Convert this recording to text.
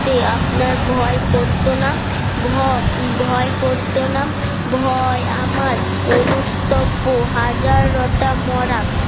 তে আপনার ভয় করত না ভয় করত না ভয় আমার অনুস্তব্য হাজারটা মরা